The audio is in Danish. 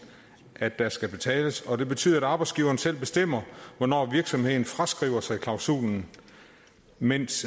at der skal betales og det betyder at arbejdsgiveren selv bestemmer hvornår virksomheden fraskriver sig klausulen mens